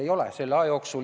Ei ole nii.